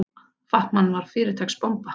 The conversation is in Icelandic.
Fat-Man var fyrirtaks bomba.